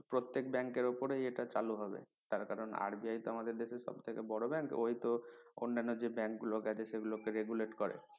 প্রত্যেক bank এর উপরেই এটা চালু হবে তার কারন RBI তো আমাদের দেশের সবথেকে বড় bank ওই তো অন্যান্য যে bank গুলো আছে সেগুলো কে regulate করে